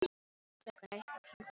Klukkan eitt var hann orðinn svangur.